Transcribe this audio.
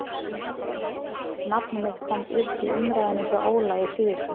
Nafn mitt kom upp í umræðunni hjá Óla í síðustu viku.